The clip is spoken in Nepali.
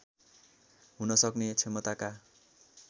हुन सक्ने क्षमताका